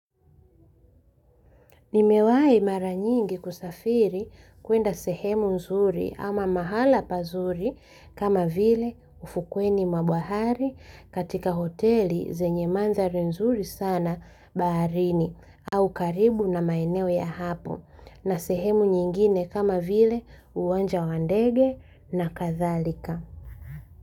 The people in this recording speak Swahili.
Nimewahi maranyingi kusafiri kwenda sehemu nzuri ama mahala pazuri kama vile ufukweni mwabahari katika hoteli zenye manzari nzuri sana baharini au karibu na maeneo ya hapo na sehemu nyingine kama vile uwanja wandege na kadhalika.